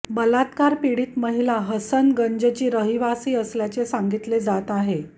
बलात्कार पीडित महिला हसनगंजची रहिवासी असल्याचे सांगितले जात आहे